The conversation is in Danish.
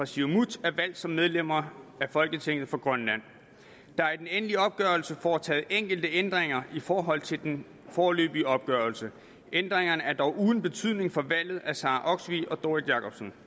siumut er valgt som medlemmer af folketinget for grønland der er i den endelige opgørelse foretaget enkelte ændringer i forhold til den foreløbige opgørelse ændringerne er dog uden betydning for valget af sara olsvig og doris jakobsen